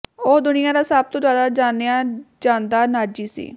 ਉਹ ਦੁਨੀਆ ਦਾ ਸਭ ਤੋਂ ਜ਼ਿਆਦਾ ਜਾਣਿਆ ਜਾਂਦਾ ਨਾਜ਼ੀ ਸੀ